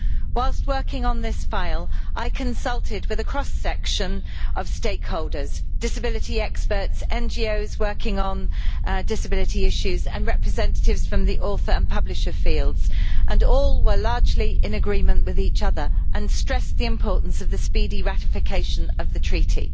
Whilst working on this subject, I consulted with a cross section of stakeholders disability experts, NGOs working on disability issues and representatives from the author and publisher fields and all were largely in agreement with each other and stressed the importance of the speedy ratification of the Treaty.